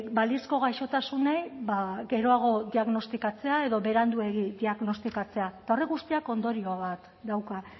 balizko gaixotasunei ba geroago diagnostikatzea edo beranduegi diagnostikatzea eta horrek guztiak ondorio bat dauka